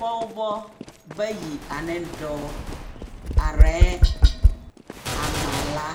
Pͻgebͻ bayi aneŋ dͻͻ, arԑԑ a maala